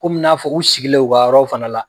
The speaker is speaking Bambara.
Kɔmi n'a fɔ u sigilen u ka yɔrɔraw fana la.